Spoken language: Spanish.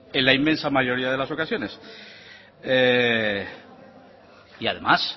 en la inmensa mayoría de las ocasiones y además